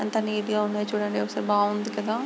ఎంత నీట్ గా ఉన్నాయో చూడండి చాలా బాగుంది కదా.